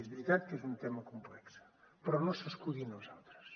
és veritat que és un tema complex però no s’escudi en els altres